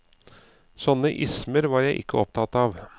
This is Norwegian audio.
Sånne ismer var jeg ikke opptatt av.